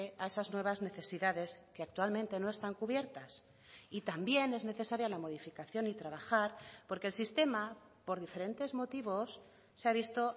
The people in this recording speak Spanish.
a esas nuevas necesidades que actualmente no están cubiertas y también es necesaria la modificación y trabajar porque el sistema por diferentes motivos se ha visto